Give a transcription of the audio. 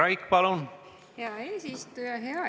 Aitäh, hea eesistuja!